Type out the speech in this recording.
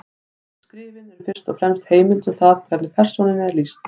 Skrifin eru fyrst og fremst heimild um það hvernig persónunni er lýst.